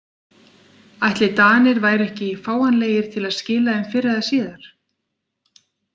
Ætli Danir væru ekki fáanlegir til að skila þeim fyrr eða síðar?